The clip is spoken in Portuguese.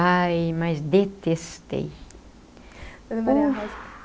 Ai, mas detestei.